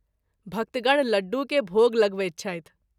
भक्तगण लड्डू के भोग लगबैत छथि।